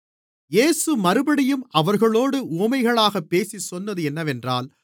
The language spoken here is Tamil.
இயேசு மறுபடியும் அவர்களோடு உவமைகளாகப் பேசிச் சொன்னது என்னவென்றால்